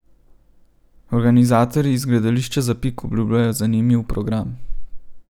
Organizatorji iz Gledališča Zapik obljubljajo zanimiv program.